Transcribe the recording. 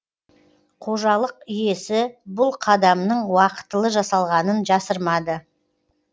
қожалық иесі бұл қадамның уақытылы жасалғанын жасырмады